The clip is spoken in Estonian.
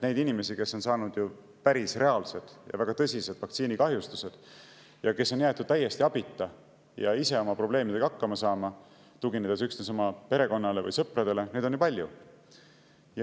Neid inimesi, kes on saanud reaalsed ja väga tõsised vaktsiinikahjustused ning kes on jäetud täiesti abita ja ise oma probleemidega hakkama saama, tuginema üksnes oma perekonnale ja sõpradele, on ju palju.